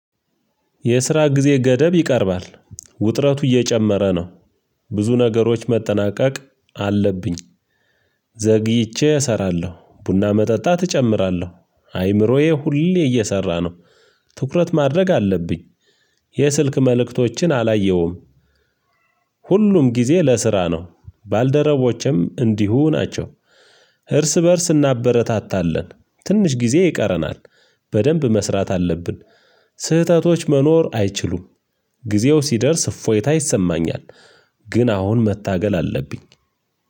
የስራ ጊዜ ገደብ ይቀርባል ውጥረቱ እየጨመረ ነው። ብዙ ነገሮች መጠናቀቅ አለብኝ። ዘግይቼ እሰራለሁ ቡና መጠጣት እጨምራለሁ አይምሮዬ ሁሌ እየሰራ ነው። ትኩረት ማድረግ አለብኝ። የስልክ መልእክቶችን አላየሁም። ሁሉም ጊዜ ለስራ ነው ባልደረቦቼም እንዲሁ ናቸው። እርስ በእርስ እናበረታታለን። ትንሽ ጊዜ ይቀረናል። በደንብ መስራት አለብን። ስህተቶች መኖር አይችሉም። ጊዜው ሲደርስ እፎይታ ይሰማኛል። ግን አሁን መታገል አለብኝ።